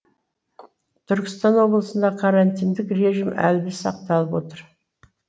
түркістан облысында карантиндік режим әлі де сақталып отыр